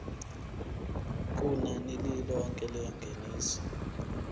kunani lilonke lengeniso